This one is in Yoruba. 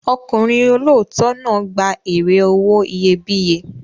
Ọkùnrin olóòótọ́ náà gba èrè owó iyebíye.